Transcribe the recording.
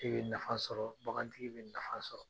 E bɛ nafa sɔrɔ bagan tigi bɛ nafa sɔrɔ.